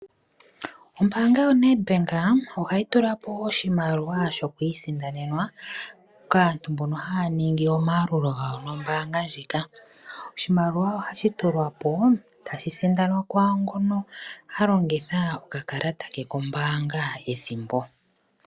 Ombaanga yoNedbank ohayi tula po oshimaliwa shokwiisindanenwa kaantu yawo mbono haa ningi omayalulo gawo nombaanga ndjika. Oshimaliwa ohashi tulwa po tashi sindanwa kwaangono a longitha okakalata ke kombaanga ethimbo.